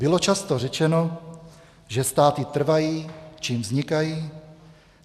Bylo často řečeno, že státy trvají, čím vznikají.